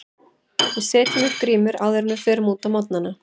Við setjum upp grímu áður en við förum út á morgnana.